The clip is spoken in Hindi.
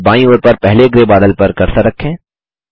फिर बायीं ओर पर पहले ग्रै बादल पर कर्सर रखें